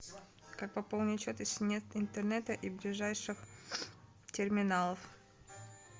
как пополнить счет если нет интернета и ближайших терминалов